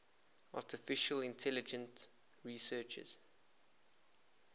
artificial intelligence researchers